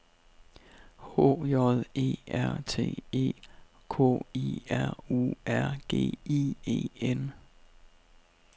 H J E R T E K I R U R G I E N